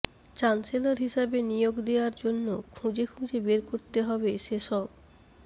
chancellor হিসেবে নিয়োগ দেওয়ার জন্য খুঁজে খুঁজে বের করতে হবে সেসব